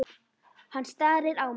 Hann starir á mig.